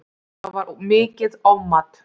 Það var mikið ofmat